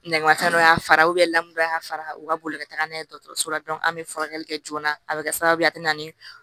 Nɛnmatɛ dɔ y'a fara lamu don a y'a fara u ka boli ka taga n'a ye dɔgɔtɔrɔso la an bɛ furakɛli kɛ joona a bɛ kɛ sababu ye a bɛ na ni